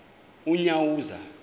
unyawuza